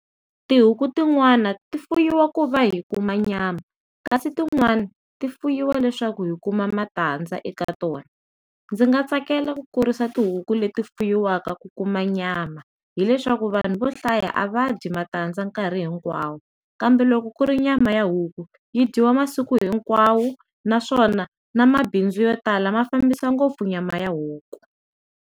Tihuku tin'wani ti fuyiwa ku va hi kuma nyama kasi tin'wani ti fuyiwa leswaku hi kuma matandza eka tona ndzi nga tsakela ku kurisa tihuku leti fuyiwaka ku kuma nyama hileswaku vanhu vo hlaya a va dyi matandza nkarhi hinkwawo kambe loko ku ri nyama ya huku yi dyiwa masiku hinkwawo naswona na mabindzu yo tala mafambisa ngopfu nyama ya huku.